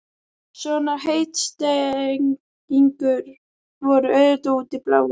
Svona heitstrengingar voru auðvitað út í bláinn.